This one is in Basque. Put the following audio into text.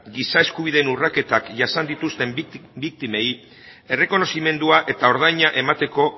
giza eskubideen urraketak jasan dituzten biktimei errekonozimendua eta ordaina emateko